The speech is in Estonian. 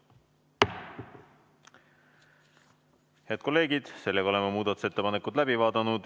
Head kolleegid, oleme muudatusettepanekud läbi vaadanud.